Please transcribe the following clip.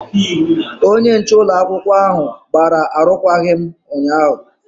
Onye nche ụlọakwụkwọ ahụ gbara arụkwaghịm ụnyaahụ.